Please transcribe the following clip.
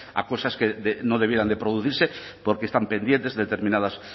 a cosas que no debieran de producirse porque están pendientes determinadas